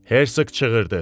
Hersoq çığırdı.